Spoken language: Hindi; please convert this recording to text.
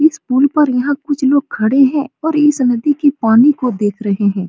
इस पूल पर यहाँ कुछ लोग खड़े हैं और इस नदी के पानी को देख रहे हैं।